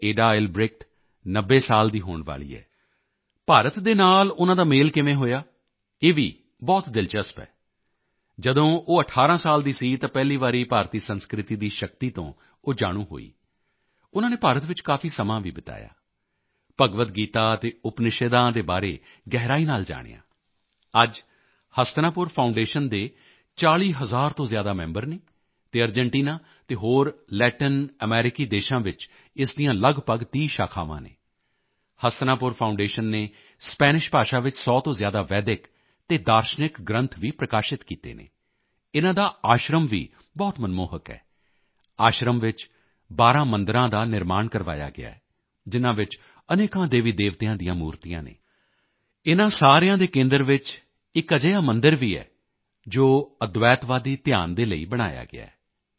ਏਡਾ ਏਲਬ੍ਰੇਕਟ 90 ਸਾਲ ਦੀ ਹੋਣ ਵਾਲੀ ਹੈ ਭਾਰਤ ਦੇ ਨਾਲ ਉਨ੍ਹਾਂ ਦਾ ਮੇਲ ਕਿਵੇਂ ਹੋਇਆ ਇਹ ਵੀ ਬਹੁਤ ਦਿਲਚਸਪ ਹੈ ਜਦੋਂ ਉਹ 18 ਸਾਲ ਦੀ ਸੀ ਤਾਂ ਪਹਿਲੀ ਵਾਰੀ ਭਾਰਤੀ ਸੰਸਕ੍ਰਿਤੀ ਦੀ ਸ਼ਕਤੀ ਤੋਂ ਉਹ ਜਾਣੂ ਹੋਈ ਉਨ੍ਹਾਂ ਨੇ ਭਾਰਤ ਵਿੱਚ ਕਾਫੀ ਸਮਾਂ ਵੀ ਬਿਤਾਇਆ ਭਗਵਦ ਗੀਤਾ ਅਤੇ ਉਪਨਿਸ਼ਦਾਂ ਦੇ ਬਾਰੇ ਗਹਿਰਾਈ ਨਾਲ ਜਾਣਿਆ ਅੱਜ ਹਸਤਨਾਪੁਰ ਫਾਊਂਡੇਸ਼ਨ ਦੇ 40 ਹਜ਼ਾਰ ਤੋਂ ਜ਼ਿਆਦਾ ਮੈਂਬਰ ਹਨ ਅਤੇ ਅਰਜੈਂਟੀਨਾ ਤੇ ਹੋਰ ਲੈਟਿਨ ਅਮਰੀਕੀ ਦੇਸ਼ਾਂ ਵਿੱਚ ਇਸ ਦੀਆਂ ਲਗਭਗ 30 ਸ਼ਾਖਾਵਾਂ ਹਨ ਹਸਤਨਾਪੁਰ ਫਾਊਂਡੇਸ਼ਨ ਨੇ ਸਪੈਨਿਸ਼ ਭਾਸ਼ਾ ਵਿੱਚ 100 ਤੋਂ ਜ਼ਿਆਦਾ ਵੈਦਿਕ ਅਤੇ ਦਾਰਸ਼ਨਿਕ ਗ੍ਰੰਥ ਵੀ ਪ੍ਰਕਾਸ਼ਿਤ ਕੀਤੇ ਹਨ ਇਨ੍ਹਾਂ ਦਾ ਆਸ਼ਰਮ ਵੀ ਬਹੁਤ ਮਨਮੋਹਕ ਹੈ ਆਸ਼ਰਮ ਵਿੱਚ 12 ਮੰਦਿਰਾਂ ਦਾ ਨਿਰਮਾਣ ਕਰਵਾਇਆ ਗਿਆ ਹੈ ਜਿਨ੍ਹਾਂ ਵਿੱਚ ਅਨੇਕਾਂ ਦੇਵੀਦੇਵਤਿਆਂ ਦੀਆਂ ਮੂਰਤੀਆਂ ਹਨ ਇਨ੍ਹਾਂ ਸਾਰਿਆਂ ਦੇ ਕੇਂਦਰ ਵਿੱਚ ਇੱਕ ਅਜਿਹਾ ਮੰਦਿਰ ਵੀ ਹੈ ਜੋ ਅਦਵੈਤਵਾਦੀ ਧਿਆਨ ਦੇ ਲਈ ਬਣਾਇਆ ਗਿਆ ਹੈ